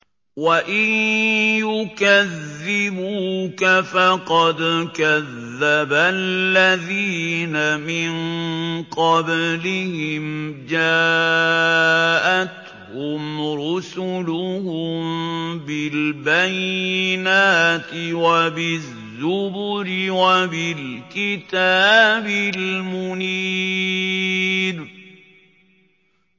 وَإِن يُكَذِّبُوكَ فَقَدْ كَذَّبَ الَّذِينَ مِن قَبْلِهِمْ جَاءَتْهُمْ رُسُلُهُم بِالْبَيِّنَاتِ وَبِالزُّبُرِ وَبِالْكِتَابِ الْمُنِيرِ